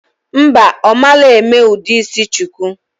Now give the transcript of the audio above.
Mba, omalo eme udu isi shuku